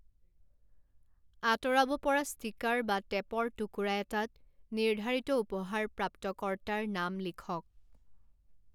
আঁতৰাব পৰা ষ্টিকাৰ বা টেপৰ টুকুৰা এটাত নিৰ্ধাৰিত উপহাৰ প্ৰাপ্তকৰ্তাৰ নাম লিখক।